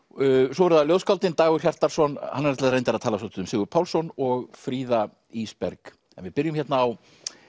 svo eru það ljóðskáldin Dagur Hjartarson hann ætlaði reyndar að tala svolítið um Sigurð Pálsson og Fríða Ísberg en við byrjum hérna á